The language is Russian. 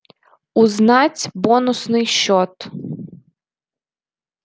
узнать бонусный счёт